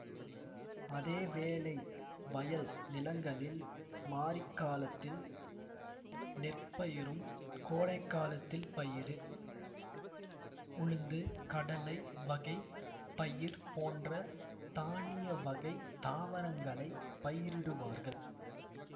அதே வேளை வயல் நிலங்களில் மாரிகாலத்தில் நெற் பயிரும் கோடைகாலத்தில் பயறு உழுந்து கடலை வகை பயிர் போன்ற தானிய வகை தாவரங்களை பயிரிடுவார்கள்